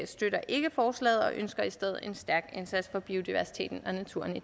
støtter ikke forslaget vi ønsker i stedet en stærk indsats for biodiversiteten og naturen i